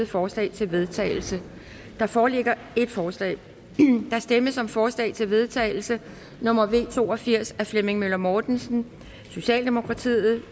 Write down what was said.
forslag til vedtagelse der foreligger et forslag der stemmes om forslag til vedtagelse nummer v to og firs af flemming møller mortensen